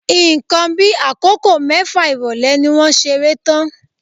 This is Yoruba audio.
Nǹkan bí akoko mẹfa irọlẹ ni wọ́n ṣeré tán.